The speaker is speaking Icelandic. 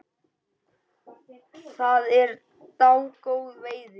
Það er dágóð veiði.